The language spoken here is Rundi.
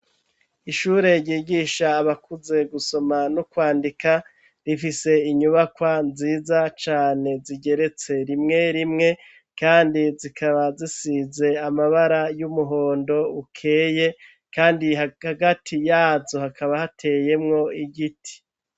Ishure ryigisha abakuze gusoma no kwandika ,rifise inyubakwa nziza cane zigeretse rimwe rimwe kandi zikaba zisize amabara y'umuhondo ukeye kandi hagati yazo hakaba hateyemwo igiti.